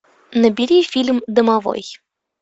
набери фильм домовой